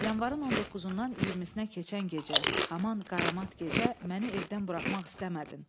Yanvarın 19-dan 20-sinə keçən gecə, haman qaramat gecə məni evdən buraxmaq istəmədin.